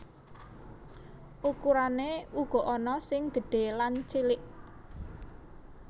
Ukurané uga ana sing gedhé lan cilik